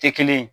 Tɛ kelen ye